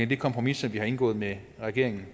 det kompromis som vi har indgået med regeringen